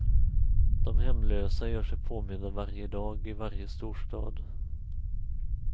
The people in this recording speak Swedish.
De hemlösa gör sig påminda varje dag i varje storstad.